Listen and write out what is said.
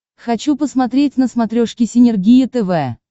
хочу посмотреть на смотрешке синергия тв